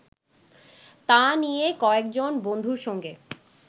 তা নিয়ে কয়েকজন বন্ধুর সঙ্গে